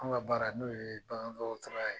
An ka baara n'o ye bagandɔgɔtɔrɔya ye